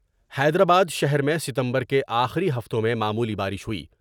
حیدرآبادشہر میں ستمبر کے آخری ہفتوں میں معمولی بارش ہوئی ۔